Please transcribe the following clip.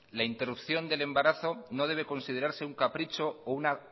la interrupción del embarazo no debe considerarse un capricho o una